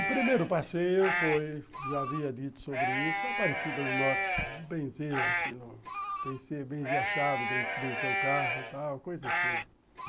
O primeiro passeio foi, já havia dito sobre isso, a Parecida do Norte, Benzê, aqui no... Benzê a chave, Benzê o carro, tal, coisa assim.